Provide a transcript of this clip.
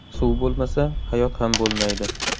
Suv bo‘lmasa, hayot ham bo‘lmaydi.